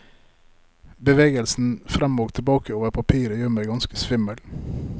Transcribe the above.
Bevegelsen frem og tilbake over papiret gjør meg ganske svimmel.